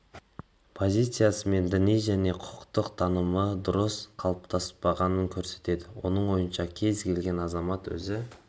позициясы мен діни және құқықтық танымы дұрыс қалыптаспағанын көрсетеді менің ойымша кез келген азамат өзі